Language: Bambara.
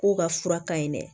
K'u ka fura ka ɲi dɛ